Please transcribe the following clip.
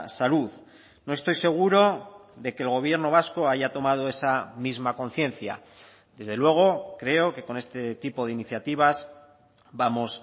salud no estoy seguro de que el gobierno vasco haya tomado esa misma conciencia desde luego creo que con este tipo de iniciativas vamos